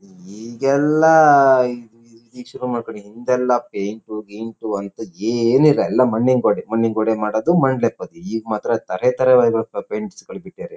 ಹು ಈಗೆಲ್ಲ ಈಗ್ ಶುರು ಮಾಡ್ಕೊಂಡಿರೋದು ಹಿಂದೆಲ್ಲ ಪೈಂಟ್ ಗಿಂಟು ಅಂಥದು ಏನು ಇಲ್ಲ ಎಲ್ಲ ಮಣ್ಣಿನ ಗೋಡೆ ಮಣ್ಣಿನ ಗೋಡೆ ಮಾಡುವುದು ಮಣ್ಣು ಲೆಪ್ಪುವುದು ಈಗ ಮಾತ್ರ ಥರಥರ ಪೈಂಟ್ಸ್ ಗಳನ್ನು ಬಿಟ್ಟಿದ್ದರೆ.